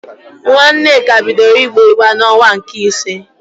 Nwa Nneka bidoro igbe igbe n'onwa nke isii